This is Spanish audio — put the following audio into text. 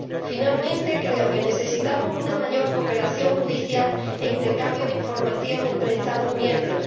Finalmente, creo que necesitamos una mayor cooperación judicial e intercambio de información entre Estados miembros.